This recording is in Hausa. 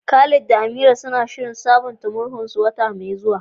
Khalid da Amira suna shirin sabunta murhunsu wata mai zuwa.